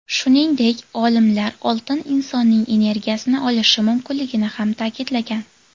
Shuningdek, olimlar oltin insonning energiyasini olishi mumkinligini ham ta’kidlagan.